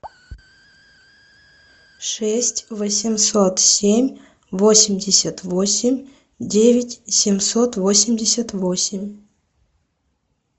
шесть восемьсот семь восемьдесят восемь девять семьсот восемьдесят восемь